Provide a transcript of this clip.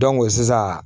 sisan